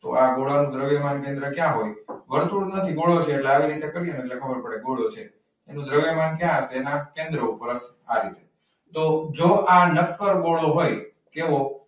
તો આ ગોળાનું દ્રવ્યમાન કેન્દ્ર ક્યાં હોય? વર્તુળ નથી ગોળો છે. તો આવી રીતે કરીએને તો ખબર પડે ગોળો છે. દ્રવ્યમાન કયાઁ હસે એના કેન્દ્ર ઉપર આ રીતે. તો જો આ નકર ગોળો હોય. કેવો?